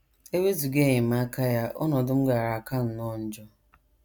E wezụga enyemaka ya, ọnọdụ m gaara aka nnọọ njọ.